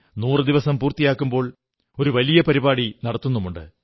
നൂറു ദിവസം പൂർത്തിയാക്കുമ്പോൾ ഒരു വലിയ പരിപാടി നടത്തുന്നുണ്ട്